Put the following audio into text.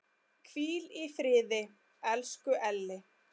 Hvíl í friði, elsku Elli.